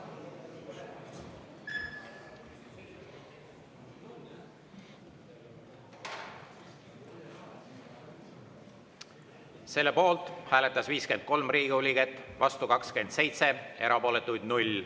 Selle poolt hääletas 53 Riigikogu liiget, vastu 27, erapooletuid 0.